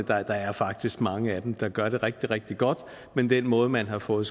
der er faktisk mange af dem der gør det rigtig rigtig godt men den måde man har fået